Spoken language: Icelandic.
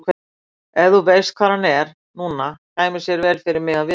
Ef þú veist hvar hann er núna kæmi sér vel fyrir mig að vita það.